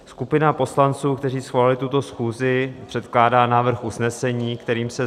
Skupina poslanců, kteří svolali tuto schůzi, předkládá návrh usnesení, kterým se